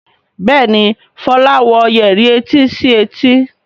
Béèni Fola wò Yẹrí etí sí etí.